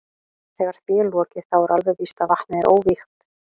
Þegar því er lokið þá er alveg víst að vatnið er óvígt.